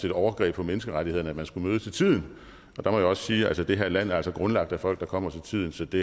overgreb på menneskerettighederne at man skulle møde til tiden der må jeg sige at det her land altså er grundlagt af folk der kommer til tiden så det